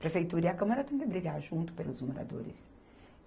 Prefeitura e a Câmara têm que brigar junto pelos moradores.